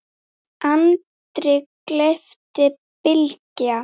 andri, gleypti Bylgja.